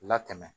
Latɛmɛ